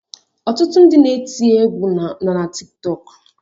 Ọtụtụ ndị na-eti égwu nọ na Tiktọk